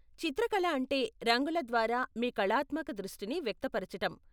చిత్రకళ అంటే రంగుల ద్వారా మీ కళాత్మక దృష్టిని వ్యక్తపరచటం.